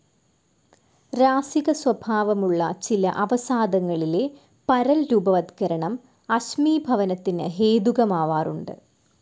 രാസികസ്വഭാവമുള്ള ചില അവസാദങ്ങളിലെ പരൽരൂപവത്കരണം അശ്മീഭവനത്തിനു ഹേതുകമാവാറുണ്ട്.